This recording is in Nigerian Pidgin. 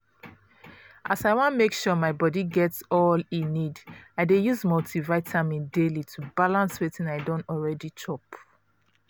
as i wan make sure my body get all e need i dey use multivitamin daily to balance wetin i don already chop